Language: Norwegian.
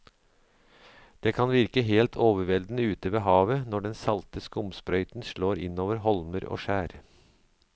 Det kan virke helt overveldende ute ved havet når den salte skumsprøyten slår innover holmer og skjær.